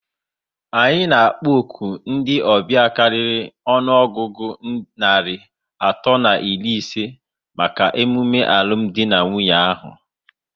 Anyị na akpọ òkù ndị ọbịa karịrị ọnụọgụgụ narị atọ na iri isé màkà emume alụmdi na Nwunye ahụ